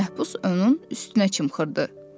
Məhbus onun üstünə çimxırdı.